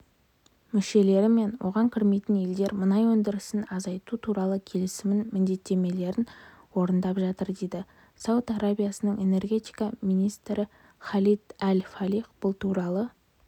мүшелері мен оған кірмейтін елдер мұнай өндірісін азайту туралы келісімнің міндеттемелерін орындап жатыр дейді сауд арабиясының энергетика министріхалид әл-фалих бұл туралы